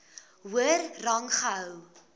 hoër rang gehou